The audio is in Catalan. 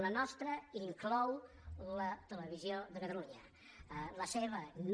la nostra inclou la televisió de catalunya la seva no